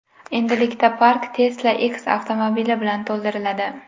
Endilikda park Tesla X avtomobili bilan to‘ldiriladi.